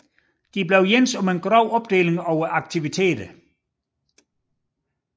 De blev enige om en grov opdeling af aktiviteterne